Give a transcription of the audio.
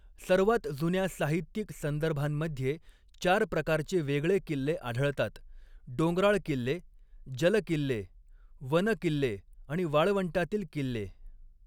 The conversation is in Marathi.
सर्वात जुन्या साहित्यिक संदर्भांमध्ये चार प्रकारचे वेगळे किल्ले आढळतातः डोंगराळ किल्ले, जलकिल्ले, वन किल्ले आणि वाळवंटातील किल्ले.